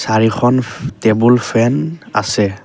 চাৰিখন ফে table fan আছে।